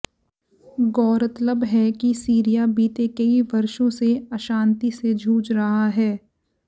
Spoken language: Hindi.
गौरतलब है कि सीरिया बीते कई वर्षों से अशांति से जूझ रहा है